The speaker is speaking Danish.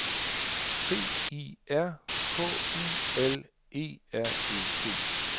C I R K U L E R E T